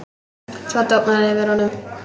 Svo dofnar yfir honum.